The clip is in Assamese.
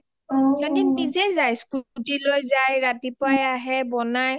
সিহঁতে নিজেই যায় স্কুটি লৈ যায়, ৰাতিপুৱাই আহে, বনাই.